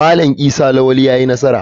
Malam Isa lawali yayi nasara.